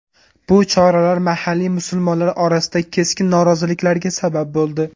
Bu choralar mahalliy musulmonlar orasida keskin noroziliklarga sabab bo‘ldi.